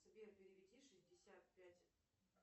сбер переведи шестьдесят пять